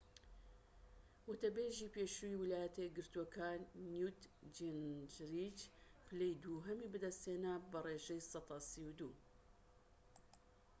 وتەبێژی پێشووی ویلایەتە یەکگرتووەکان نیوت جینجریچ پلەی دووهەمی بەدەستهێنا بە ڕێژەی سەدا ٣٢